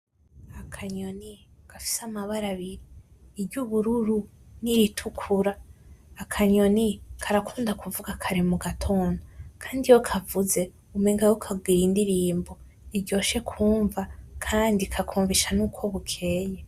Akanyoni gafise amabara abiri ubururu n’iritukura akanyoni karakunda kuvuga kare mu gatondo iyo kavuze umenga kariko karagira indirimbo iryoshe kumva kandi kakumvisha nuko bukeye.